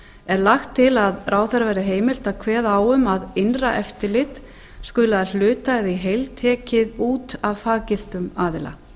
er lagt til að ráðherra verði heimilt að kveða á um að innra eftirlit skuli að hluta eða í heild tekið út af faggiltum aðila